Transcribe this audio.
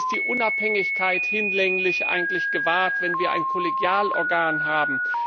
Ist die Unabhängigkeit eigentlich hinlänglich gewahrt, wenn wir ein Kollegialorgan haben?